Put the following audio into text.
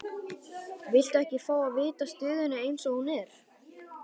Viltu ekki fá að vita stöðuna eins og hún er?